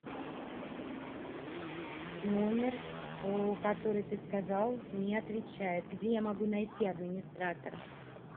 номер по который ты сказал не отвечает где я могу найти администратора